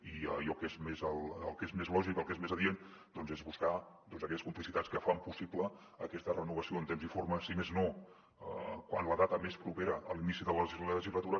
i el que és més lògic el que és més adient doncs és buscar aquelles complicitats que fan possible aquesta renovació en temps i forma si més no quan la data és més propera a l’inici de la legislatura